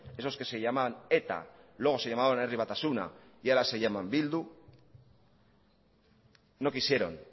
esos que se llaman eta luego se llamaron herri batasuna y ahora se llaman bildu no quisieron